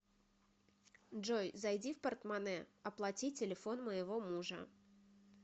джой зайди в портмоне оплати телефон моего мужа